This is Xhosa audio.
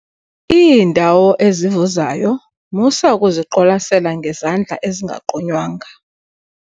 Iindawo ezivuzayo musa ukuziqwalasela ngezandla ezingagqunywanga.